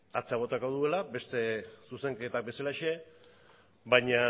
atzera botako duela beste zuzenketa bezalaxe baina